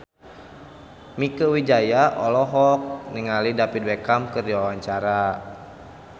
Mieke Wijaya olohok ningali David Beckham keur diwawancara